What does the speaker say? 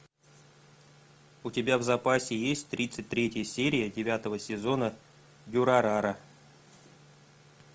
у тебя в запасе есть тридцать третья серия девятого сезона дюрарара